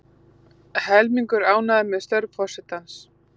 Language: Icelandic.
Helmingur ánægður með störf forsetans